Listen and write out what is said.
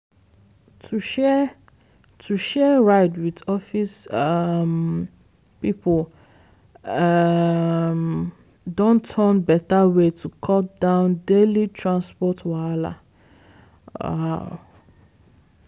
to share to share ride with office um people um don turn better way to cut down daily transport wahala. um